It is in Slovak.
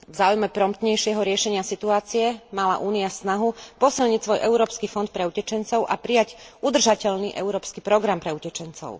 V záujme promptnejšieho riešenia situácie mala Únia snahu posilniť svoj Európsky fond pre utečencov a prijať udržateľný európsky program pre utečencov.